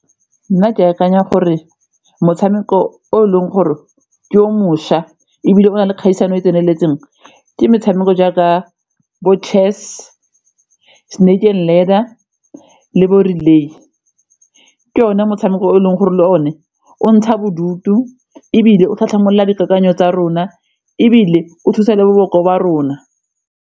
Nna ke akanya gore motshameko o e leng gore ke o mošwa ebile o na le kgaisano e tseneletseng ke metshameko jaaka bo-chess, Snake amd Ladder le bo-Relay ke one motshameko o e leng gore le o ne o ntsha bodutu ebile o tlhatlhamolola dikakanyo tsa rona ebile o thusa le boboko ba rona.